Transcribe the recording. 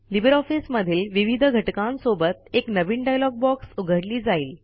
Libre office मधील विविध घटकांसोबत एक नवीन डायलॉग बॉक्स उघडली जाईल